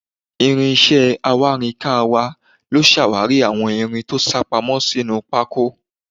Ìrìn iṣẹ́ awárinkàn wa ló ṣàwárí àwọn irin tó sápamọ́ sínú pákó.